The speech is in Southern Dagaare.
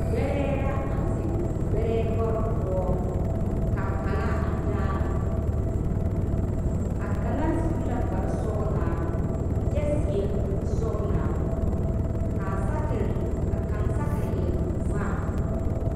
Gbɛrɛɛ la a zeŋ gbɛrɛɛ lɔɔre poɔ ka kaŋa a daara a kaŋa su la kparesɔglaa kyɛ seɛ kurisɔglaa ka a saakeri ka kaŋ saakeri e vaare.